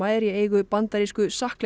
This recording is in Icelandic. er í eigu bandarísku